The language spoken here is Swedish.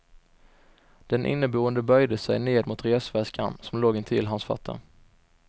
Den inneboende böjde sig ned mot resväskan som låg intill hans fötter.